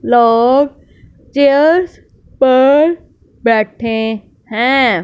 लोग चेयर्स पर बैठे हैं।